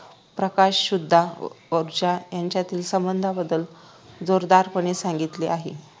प्रकाश सुद्धा ऊर्जा यांच्यातील संबंधांबद्दल जोरदारपणे सांगितले आहे